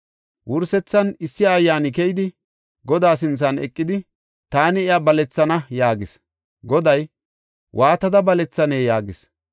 Wursethan issi ayyaani keyidi Godaa sinthan eqidi, “Taani iya balethana” yaagis. Goday, “Waatada balethanee?” yaagis.